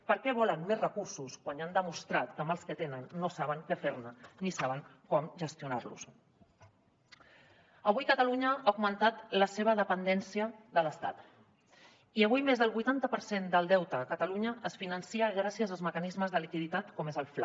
per què volen més recursos quan han demostrat que amb els que tenen no saben què fer ne ni saben com gestionar los avui catalunya ha augmentat la seva dependència de l’estat i avui més del vuitanta per cent del deute a catalunya es finança gràcies als mecanismes de liquiditat com és el fla